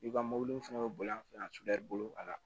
I ka mɔbili fɛnɛ bɛ boli an fɛ yan sudu bolo la